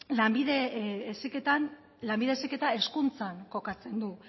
lanbide heziketa hezkuntzan kokatzen du